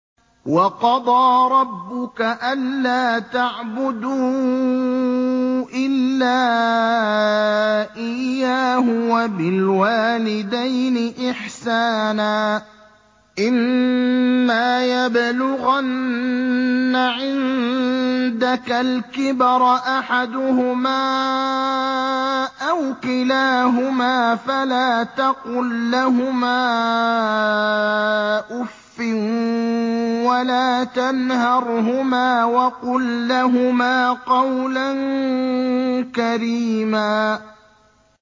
۞ وَقَضَىٰ رَبُّكَ أَلَّا تَعْبُدُوا إِلَّا إِيَّاهُ وَبِالْوَالِدَيْنِ إِحْسَانًا ۚ إِمَّا يَبْلُغَنَّ عِندَكَ الْكِبَرَ أَحَدُهُمَا أَوْ كِلَاهُمَا فَلَا تَقُل لَّهُمَا أُفٍّ وَلَا تَنْهَرْهُمَا وَقُل لَّهُمَا قَوْلًا كَرِيمًا